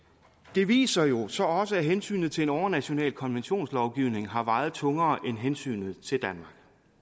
det viser jo så også at hensynet til en overnational konventionslovgivning har vejet tungere end hensynet til